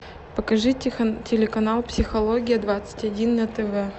покажи телеканал психология двадцать один на тв